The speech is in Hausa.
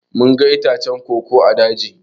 Mun ga itacen koko ã daji.